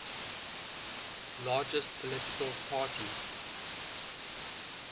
largest political party